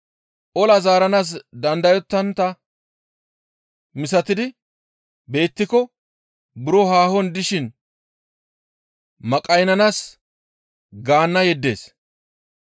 Ola zaaranaas dandayetontta misatidi beettiko buro haahon dishin maqaynnanaas gaanna yeddees.